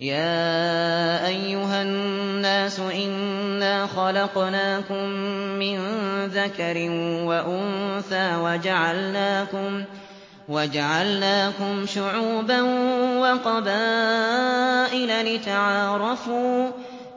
يَا أَيُّهَا النَّاسُ إِنَّا خَلَقْنَاكُم مِّن ذَكَرٍ وَأُنثَىٰ وَجَعَلْنَاكُمْ شُعُوبًا وَقَبَائِلَ لِتَعَارَفُوا ۚ